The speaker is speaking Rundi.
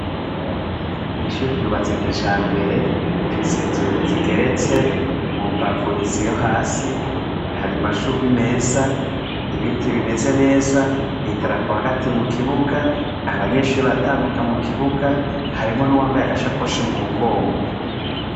Iri shure ryubatse kijambere rifise inzu zigeretse mu mbavu zo hasi hari amashugwe meza ibiti bimeze neza idarapo hagati mu kibuga abanyeshure baratambuka mu kibuga harimwo n' uwambaye agasakoshi mu mugongo.